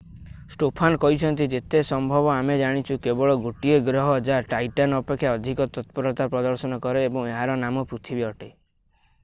Stofan କହିଛନ୍ତି ଯେତେ ସମ୍ଭବ ଆମେ ଜାଣିଛୁ କେବଳ ଗୋଟିଏ ଗ୍ରହ ଯାହା ଟାଇଟନ୍ ଅପେକ୍ଷା ଅଧିକ ତତ୍ପରତା ପ୍ରଦର୍ଶନ କରେ ଏବଂ ଏହାର ନାମ ପୃଥିବୀ ଅଟେ